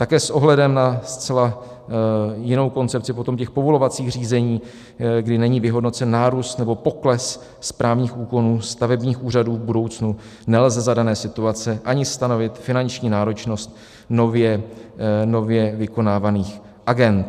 Také s ohledem na zcela jinou koncepci potom těch povolovacích řízení, kdy není vyhodnocen nárůst nebo pokles správních úkonů stavebních úřadů v budoucnu, nelze za dané situace ani stanovit finanční náročnost nově vykonávaných agend.